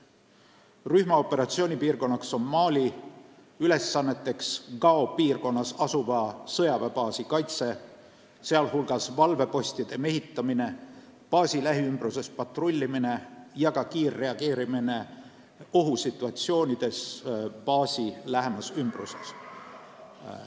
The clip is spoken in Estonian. Rühma operatsioonipiirkonnaks on Mali, ülesanneteks Gao piirkonnas asuva sõjaväebaasi kaitse, sh valvepostide mehitamine, baasi lähiümbruses patrullimine ja ka kiirreageerimine ohusituatsioonides baasi lähimas ümbruses.